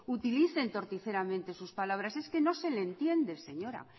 utilicen torticeramente sus palabras es que no se le entiende señora